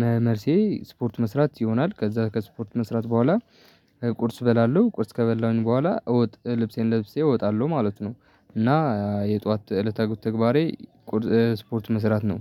መ መልሴ ስፖርት መስራት ይሆናል። ከዛ ከስፖርት መስራት በኋላ ቁርስ በላለሁ ቁርስ ከበላሁኝ በኋላ እወጥ ልብሴን ለብሴ እወጣለሁ ማለት ነው። እና የጧት እለታዊ ተግባሬ ቁርስ ስፖርት መስራት ነው